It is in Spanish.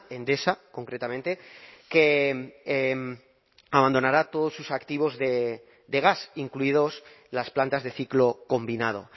endesa concretamente que abandonará todos sus activos de gas incluidos las plantas de ciclo combinado